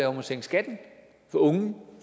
om at sænke skatten for unge